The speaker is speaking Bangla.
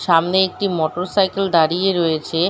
সামনে একটি মোটর সাইকেল দাঁড়িয়ে রয়েছে --